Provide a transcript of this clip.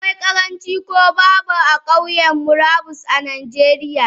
Akwai karanci ko babu Kauyan murabus a najeriya.